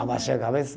Abaixa a cabeça.